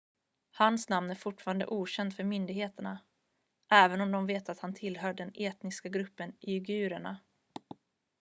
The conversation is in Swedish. hans namn är fortfarande okänt för myndigheterna även om de vet att han tillhör den etniska gruppen uigurerna